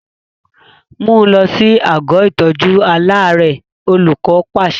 Mú un lọ sí àgọ́ ìtọ́jú aláàárẹ̀! Olùkọ́ pàṣẹ.